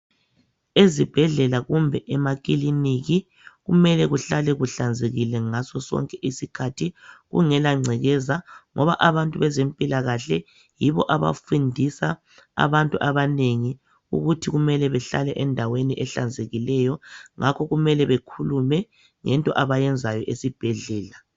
Ezibhedlela kumbe emakilinika kumele kuhlale kuhlanzekile ngaso sonke isikhathi kungela ngcekeza ngoba abantu bezempilakahle yibo abafundisa abantu abanengi ukuthi kumele behlale endaweni ehlanzekileyo ngakho kumele bekhuluma ngento abayenzayo esibhedlela.